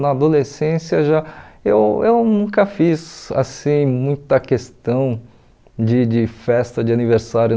Na adolescência, já eu eu nunca fiz assim muita questão de de festa de aniversário.